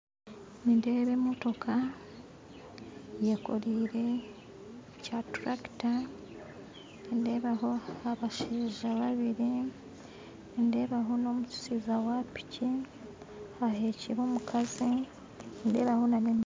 Nindeeba emotooka eyekoreire kya trakita nindeebaho abashaija babiiri nindeebaho n'omushaija wa piiki ahekire omukazi nindeebaho na n'emiti